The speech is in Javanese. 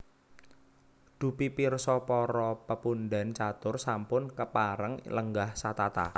Dupi pirsa para pepundhen catur sampun kepareng lenggah satata